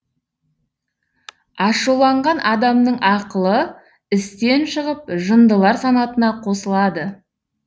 ашуланған адамның ақылы істен шығып жындылар санатына қосылады